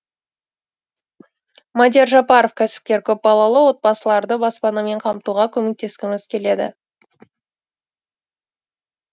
мадияр жапаров кәсіпкер көпбалалы отбасыларды баспанамен қамтуға көмектескіміз келеді